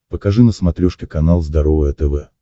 покажи на смотрешке канал здоровое тв